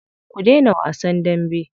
Ku daina wasan dambe.